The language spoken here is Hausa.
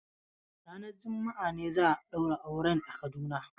Ranar juma'a ne za a ɗaura auren a Kaduna?